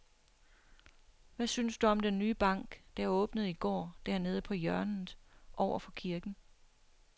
Hvad synes du om den nye bank, der åbnede i går dernede på hjørnet over for kirken?